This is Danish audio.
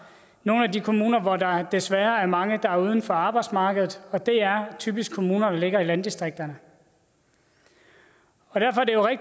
nogle af de kommuner hvor der desværre er mange der er uden for arbejdsmarkedet og det er typisk kommuner der ligger i landdistrikterne derfor